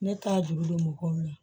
Ne ta juru don mɔgɔw la